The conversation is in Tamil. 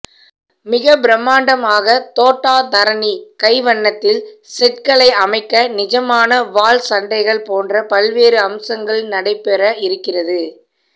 மிக பிரம்மாண்டமாக தோட்டா தரணி கைவண்ணத்தில் செட்களை அமைக்க நிஜமான வாள் சண்டைகள் போன்ற பல்வேறு அம்சங்கள் நடைபெற இருக்கிறது